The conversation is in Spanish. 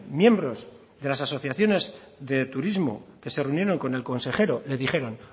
miembros de las asociaciones de turismo que se reunieron con el consejero le dijeron